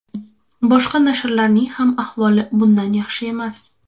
Boshqa nashrlarning ham ahvoli bundan yaxshi emas.